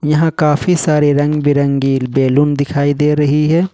यहां काफी सारे रंग-बिरंगी बैलून दिखाई दे रही है।